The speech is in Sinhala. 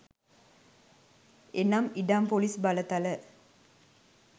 එනම් ඉඩම් ‍පොලිස් බලතල